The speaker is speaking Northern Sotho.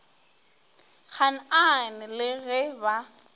gaan aan le ge ba